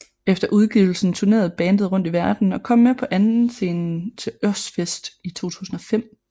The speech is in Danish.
Efter udgivelsen tournerede bandet rundt i verdenen og kom med på andenscenen til Ozzfest i 2005